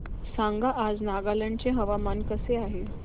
सांगा आज नागालँड चे हवामान कसे आहे